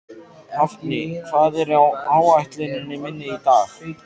Hafni, hvað er á áætluninni minni í dag?